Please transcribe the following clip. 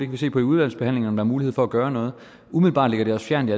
vi se på i udvalgsbehandlingen om er mulighed for at gøre noget umiddelbart ligger det os fjernt i